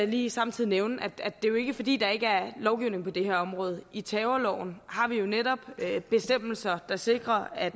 lige samtidig nævne at det jo ikke er fordi der ikke er lovgivning på det her område i terrorloven har vi jo netop bestemmelser der sikrer at